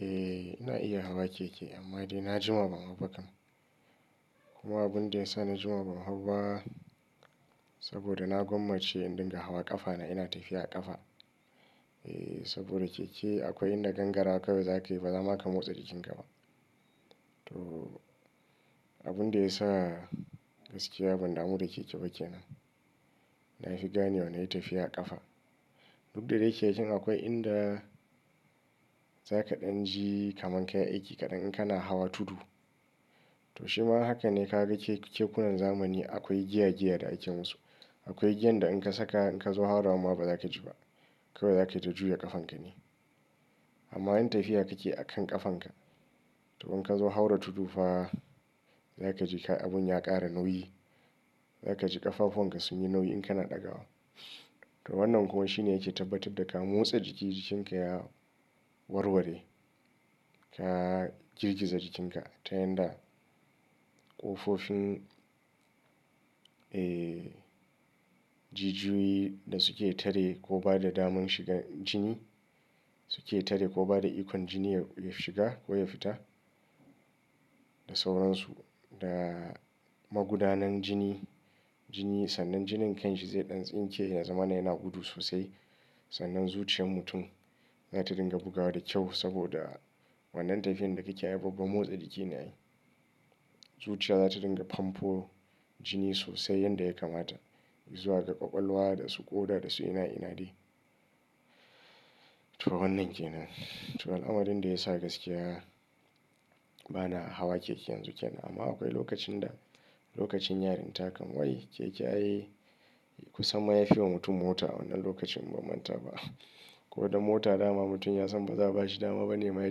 Eh ina iya hawa keke amma daina jima ban hauba kam. Kuma abunda yasa na jima ban hauba saboda na gwammace in dinga hawa ƙafana ina tafiya a ƙafa. Eh saboda keke akwai inda gangara kawai zakayi bazama ka motsa jikinka ba. To abinda yasa gaskiya ban damu da keke ba kenan. Nafi ganewa nayi tafiyar kafa dukda dai kekan akwai inda zaka danji kamar kayi aiki kadan in kana hawa tudu Toshima hakane kaga kekunan zamani akwai giya giya da aikinsu. Akwai giyanda inka saka in kazo haurawama ba zakaji ba. Kawai zataita juya kafankane amma in tafiya kake akan kafanka to in kazo haura tudufa za kaji kai abun ya ƙara nauyi. Za kaji ƙafafuwan ka sunyi nauyi in kana ɗagawa. To wannan kuma shine yake tabbatar da ka motsa jiki jikinka ya warware. Ka girgiza jikinka ta yanda ƙofofin eh jijiyoyi da suke tare ko bada daman shigan jini suke tare ko bada ikon jini ya shiga koya fita da sauransu. Da magudanun jini, jini sannan jinin kanshi zai ɗan tsinke ya zamana yana gudu sosai. Sannan zuciyar mutum zata dinga bugawa da kyau saboda wannan tafiyan da kakeyi ai babba motsa jiki ne ai. Zuciya zata dinga famfo jini sosai yanda ya kamata zuwa ga ƙwaƙwalwa dasu ƙoda dasu ina ina dai. To wannan kenan, to al'amarinda yasa gaskiya bana hawa keke yanzu kenan amma akwai lokacinda lokacin yarinta kam wai keke ai kusamma yafiwa mutum mota a wannan lokacin inban mantaba kodan mota dama mutum ya san ba za'a bashi dama banema ya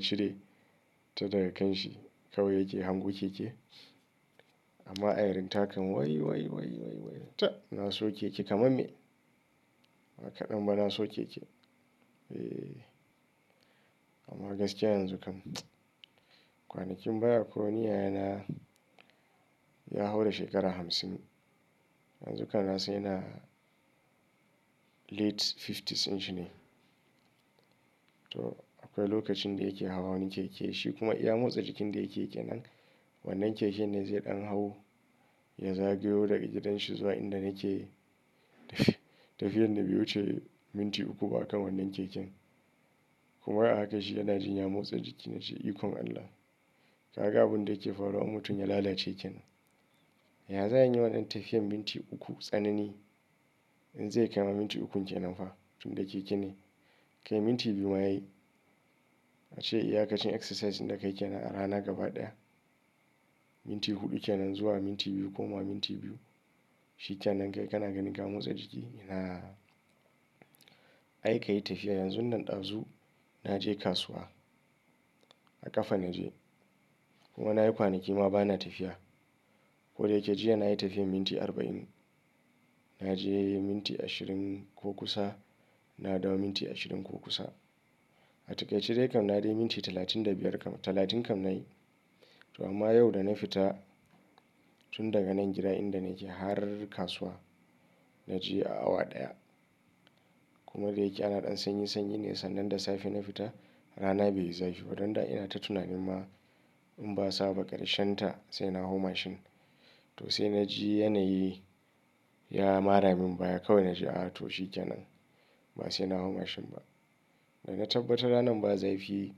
cire ta daga kanshi kawai yake hango keke. Amma a yarinta kan wai wai wai wai tab naso keke kamar me? Bakaɗan ba naso keke? Eh amma gaskiya yanzu kam kwanakin baya akwai wani yayana ya haura shekara hamsin. Yanzu kam nasan yana late fifties dinshine. To akwai lokacinda yake hawa wani keke shi kuma iya motsa jikinda yakeyi kenan. Wannan kekenne zai ɗan hau ya zagayo daga gidanshi zuwa inda nake tafiya. Tafiyan dabe wuce minti uku ba a kan wannan keken. Kuma wai ahaka shi yanajin ya motsa jiki nace ikon Allah. Kaga abunda yake faruwa in mutum ya lalace kenan. Ya za'ayi inyi wannan tafiyan minti uku tsanani inze kaima minti ukun kenanfa tunda keke ne. Kai minti biyu ma yayi. A ce iya kacin exercise inda kai kenan a rana gaba ɗaya. Minti huɗu kenan zuwa minti biyu koma minti biyu. Shikenan kai kana ganin ka motsa jiki? Inaa ai kayi tafiya yanzunnan ɗazu naje kasuwa. A ƙafa na je. Kuma na yi kwanaki ma bana tafiya. Koda yake jiya nayi tafiyar minti arba'in. Naje minti ashirin ko kusa. Na dawo minti ashirin ko kusa. A takaice daikam nadaiyi minti talatin da biyar kam talatin kam nayi to amma yau da na fita tun daga nan gida inda nake har kasuwa na je a awa ɗaya. Kuma da yake ana ɗan sanyi sanyi ne sannan da safe na fita rana bai zafi ba. Donda inata tunanin ma inba sa ba ƙarshen ta sai na hau mashin. To sai naji yanayi ya maramin baya kawai naji a to shi kenan. Ba saina hau mashin ba. Dana tabbatar ranan ba zafi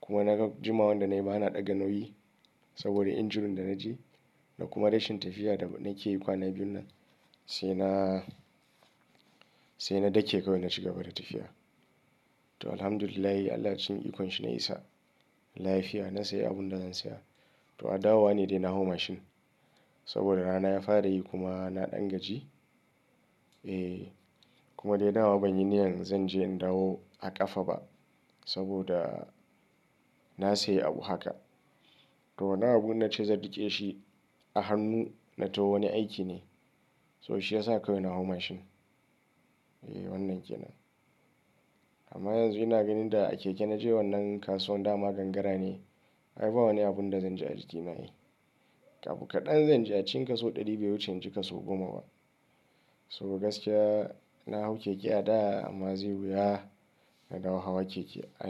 kuma naga jumawanda nayima ana ɗaga nauyi saboda injury danaji da kuma rashin tafiya da banayi kwana biyunnan, saina saina dake kawai na cigaba da tafiya to Alhamdulillahi Allah cikin ikonshi na isa lafiya na sayi abunda zan saya. To adawa nedai na hau mashin saboda rana ya farayi kuma naɗan gaji. Eh kuma dai dama banyi niyyan zanje in dawo a ƙafaba saboda na sayi abu haka. To wannan abu innace zan riƙe shi a hannu na tawo wani aikine. To shi ya sa kawai na hau mashin. Eh wannan kenan. Amma yanzu ina ganin da a keke naje wannan kasuwan dama gangara ne. Aiba wani abunda zanji a jikina ai. Abu kaɗan zanji a cikin kaso ɗari bai wuce inci kaso goma ba. Saboda gaskiya nahau keke a da amma zai wuya na dawo hawa keke a.